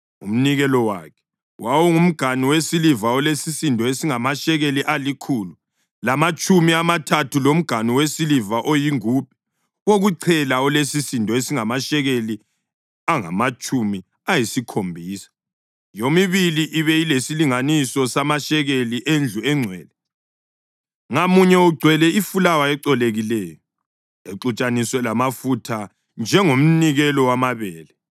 Umnikelo wakhe: wawungumganu wesiliva olesisindo esingamashekeli alikhulu lamatshumi amathathu, lomganu wesiliva oyingubhe wokuchela olesisindo esingamashekeli angamatshumi ayisikhombisa, yomibili ibe lesilinganiso samashekeli endlu engcwele, ngamunye ugcwele ifulawa ecolekileyo exutshaniswe lamafutha njengomnikelo wamabele;